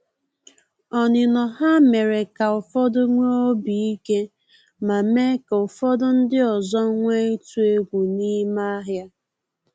Onino ha mere ka ụfọdụ nwee obi ike, ma mee ka ofodu ndị ọzọ nwee itu egwu n’ime ahịa